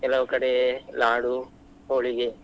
ಕೆಲವ್ ಕಡೆ Laadu, Holige.